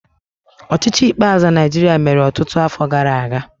Ọchịchị ikpeazụ na Naịjirịa mere ọtụtụ afọ gara aga.